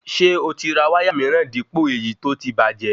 Ṣé oti ra wáyà míràn dípò èyí tó tí bàjẹ́